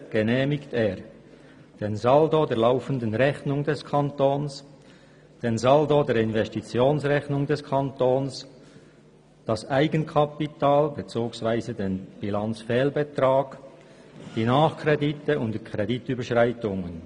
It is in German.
«Insbesondere genehmigt er den Saldo der laufenden Rechnung des Kantons, den Saldo der Investitionsrechnung des Kantons, das Eigenkapital bzw. den Bilanzfehlbetrag, die Nachkredite und die Kreditüberschreitungen.»